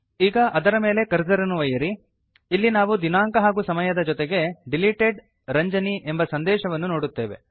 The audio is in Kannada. ಈಗ ಅದರ ಮೇಲೆ ಕರ್ಸರ್ ಅನ್ನು ಒಯ್ಯಿರಿ ಇಲ್ಲಿ ನಾವು ದಿನಾಂಕ ಹಾಗೂ ಸಮಯದ ಜೊತೆಗೆ ಡಿಲಿಟೆಡ್ Ranjani ಎಂಬ ಸಂದೇಶವನ್ನು ನೋಡುತ್ತೇವೆ